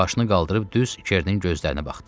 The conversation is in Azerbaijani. Başını qaldırıb düz Kernin gözlərinə baxdı.